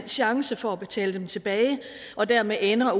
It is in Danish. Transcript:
chance for at betale dem tilbage og dermed ender